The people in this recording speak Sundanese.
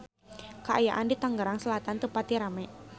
Kaayaan di Tangerang Selatan teu pati rame